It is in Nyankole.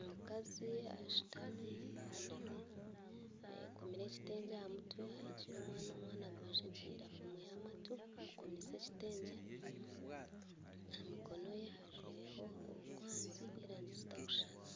Omukazi ashutami ahunami ayekomire ekitengye aha mutwe aheekire omwana omwana agwejegyeire afumwire amatu amukomeise ekitengye aha mikono ye ajwaireho orukwanzi rwerangi zitarikushushana